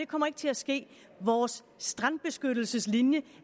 kommer ikke til at ske vores strandbeskyttelseslinje